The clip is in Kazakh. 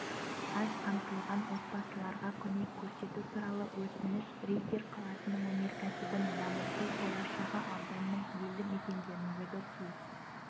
аз қамтылған отбасыларға көмек көрсету туралы өтініш риддер қаласының өнеркәсібін дамыту болашағы ауданның елді мекендеріндегі су